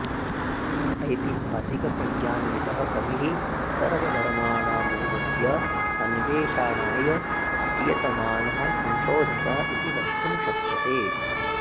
ऐतिहासिकप्रज्ञान्वितः कविः सर्वधर्माणां मूलस्य अन्वेषाणाय प्रयतमानः संशोधकः इति वक्तुं शक्यते